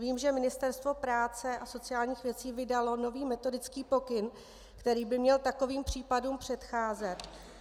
Vím, že Ministerstvo práce a sociálních věcí vydalo nový metodický pokyn, který by měl takovým případům předcházet.